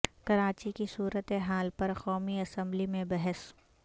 کراچی کی صورت حال پر قومی اسمبلی میں بحث